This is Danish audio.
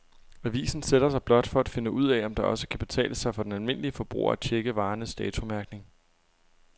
Avisen sætter sig blot for at finde ud af, om det også kan betale sig for den almindelige forbruger at checke varernes datomærkning.